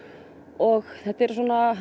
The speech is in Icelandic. og þetta eru